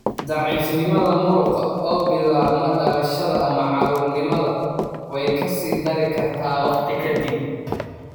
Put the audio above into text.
Daciifnimada muruqa, oo bilaabma dhalashada ama caruurnimada, way ka sii dari kartaa waqti ka dib.